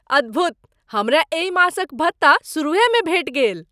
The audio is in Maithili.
अद्भुत! हमरा एहि मासक भत्ता सुरूहेमे भेटि गेल।